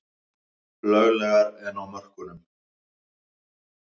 Löglegar en á mörkunum